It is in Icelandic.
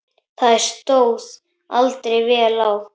Það stóð aldrei vel á.